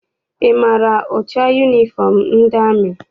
Ị maara ụcha yunifọm ndị amị?